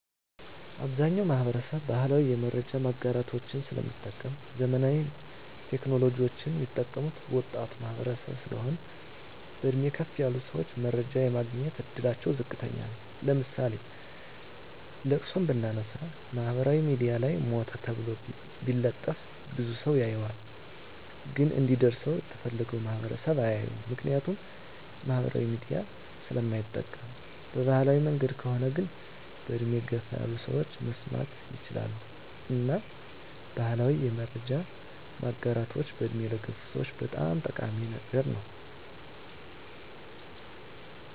አብዛኛዉ ማህበረሰብ ባህላዊ የመረጃ ማጋራቶችን ስለሚጠቀም ዘመናዊ ቴክኖሎጂወችን ሚጠቀሙት ወጣቱ ማህበረሰብ ስለሆን በእድሜ ከፍ ያሉ ሰወች መረጃ የማግኘት እድላቸዉ ዝቅተኛ ነዉ ለምሳሌ ለቅሶን ብናነሳ ማህበራዊ ሚድያ ላይ ሞተ ተብሎ ቢለጠፍ ብዙ ሰዉ ያየዋል ግን እንዲደርሰዉ የተፈለገዉ ማህበረሰብ አያየዉም ምክንያቱም ማህበራዊ ሚዲያ ስለማይጠቀም በባህላዊ መንገድ ከሆነ ግን በእድሜ ገፋ ያሉ ሰወች መስማት ይችላሉ እና ባህላዊ የመረጃ ማጋራቶች በእድሜ ለገፉ ሰወች በጣም ጠቃሚ ነገር ነዉ